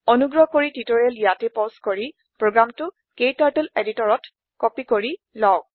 অনুগ্ৰহ কৰি টিউটৰিয়েল ইয়াতে পজ কৰি প্ৰোগ্ৰামটো ক্টাৰ্টল এডিটৰত কপি কৰি লওক